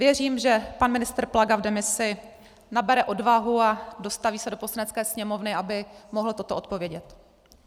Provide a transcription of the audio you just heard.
Věřím, že pan ministr Plaga v demisi nabere odvahu a dostaví se do Poslanecké sněmovny, aby mohl toto odpovědět.